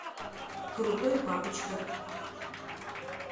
крутой папочка